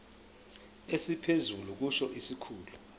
esiphezulu kusho isikhulu